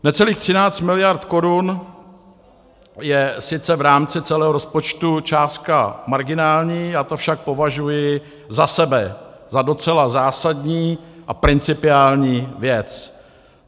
Necelých 13 miliard korun je sice v rámci celého rozpočtu částka marginální, já to však považuji za sebe za docela zásadní a principiální věc.